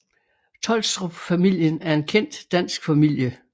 Tholstrup familien er en kendt dansk familie